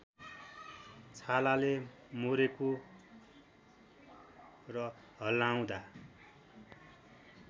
छालाले मोरेको र हल्लाउँदा